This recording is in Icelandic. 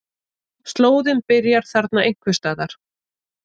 Slóðinn byrjar þarna einhvers staðar.